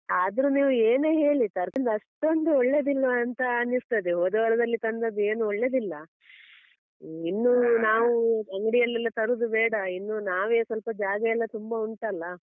ಆದ್ರು ನೀವು ಏನೇ ಹೇಳಿ ತರ್ಕಾರಿ ಅಷ್ಟೊಂದು ಒಳ್ಳೆದಿಲ್ವಾ ಅಂತ ಅನಿಸ್ತದೆ. ಹೋದ ವಾರದಲ್ಲಿ ತಂದದ್ದು ಏನು ಒಳ್ಳೆದಿಲ್ಲ. ಇನ್ನು ಅಂಗಡಿಯಲ್ಲೆಲ್ಲಾ ತರುದು ಬೇಡ ಇನ್ನು ನಾವೇ ಸ್ವಲ್ಪ ಜಾಗ ಎಲ್ಲ ತುಂಬ ಉಂಟಲ್ಲ.